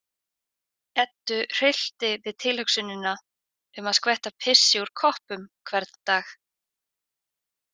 Eddu hryllti við tilhugsunina um að skvetta pissi úr koppum hvern dag.